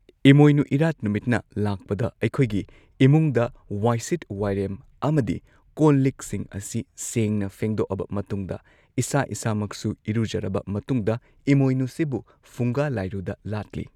ꯏꯃꯣꯏꯅꯨ ꯏꯔꯥꯠ ꯅꯨꯃꯤꯠꯅ ꯂꯥꯛꯄꯗ ꯑꯩꯈꯣꯏꯒꯤ ꯏꯃꯨꯡꯗ ꯋꯥꯏꯁꯤꯠ ꯋꯥꯏꯔꯦꯝ ꯑꯃꯗꯤ ꯀꯣꯜ ꯂꯤꯛꯁꯤꯡ ꯑꯁꯤ ꯁꯦꯡꯅ ꯐꯦꯡꯗꯣꯛꯑꯕ ꯃꯇꯨꯡꯗ ꯏꯁꯥ ꯏꯁꯥꯃꯛꯁꯨ ꯏꯔꯨꯖꯔꯕ ꯃꯇꯨꯡꯗ ꯏꯃꯣꯏꯅꯨꯁꯤꯕꯨ ꯐꯨꯡꯒꯥ ꯂꯥꯏꯔꯨꯗ ꯂꯥꯠꯂꯤ